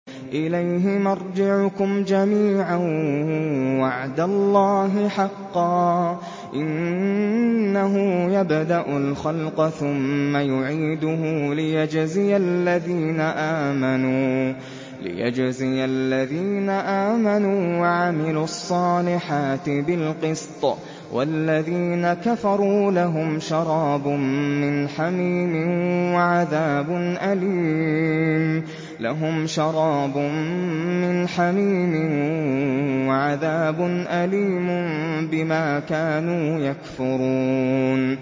إِلَيْهِ مَرْجِعُكُمْ جَمِيعًا ۖ وَعْدَ اللَّهِ حَقًّا ۚ إِنَّهُ يَبْدَأُ الْخَلْقَ ثُمَّ يُعِيدُهُ لِيَجْزِيَ الَّذِينَ آمَنُوا وَعَمِلُوا الصَّالِحَاتِ بِالْقِسْطِ ۚ وَالَّذِينَ كَفَرُوا لَهُمْ شَرَابٌ مِّنْ حَمِيمٍ وَعَذَابٌ أَلِيمٌ بِمَا كَانُوا يَكْفُرُونَ